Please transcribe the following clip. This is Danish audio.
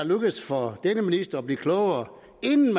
lykkedes for denne minister at blive klogere inden